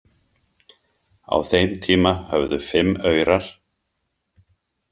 Á þeim tíma höfðu fimm aurar.